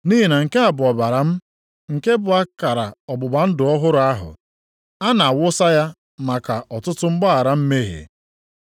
Nʼihi na nke a bụ ọbara m nke bụ akara ọgbụgba ndụ ọhụrụ ahụ. A na-awụsa ya maka ọtụtụ mgbaghara mmehie.